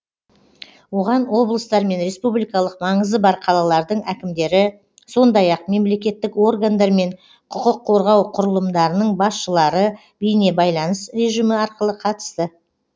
оған облыстар мен республикалық маңызы бар қалалардың әкімдері сондай ақ мемлекеттік органдар мен құқық қорғау құрылымдарының басшылары бейнебайланыс режимі арқылы қатысты